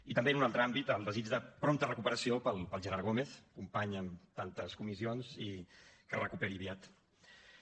i també en un altre àmbit el desig de prompta recuperació pel gerard gómez company en tantes comissions i que es recuperi aviat